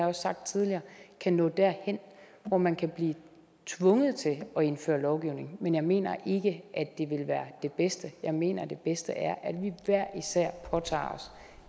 også sagt tidligere kan nå derhen hvor man kan blive tvunget til at indføre lovgivning men jeg mener ikke at det vil være det bedste jeg mener det bedste er at vi hver især påtager os